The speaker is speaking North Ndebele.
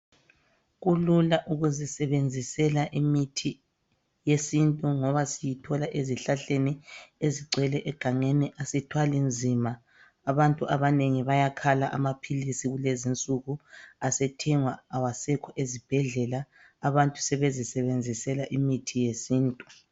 Kulula ukuzisebenzisela imithi yesintu ngoba siyithola ezihlahleni ezigcwele egangeni asithwali nzima. Abantu abanengi bayakhala amaphilisi kulezinsuku asethengwa awasekho ezibhedlela. Abantu sebezisebenzisela imithi yesintu.